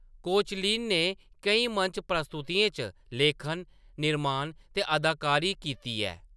Koechlin ने केईं मंच प्रस्तुतियें च लेखन, निर्माण ते अदाकारी कीती ऐ।